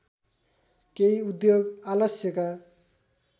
केही उद्योग आलस्यका